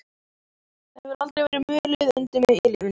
Það hefur aldrei verið mulið undir mig í lífinu.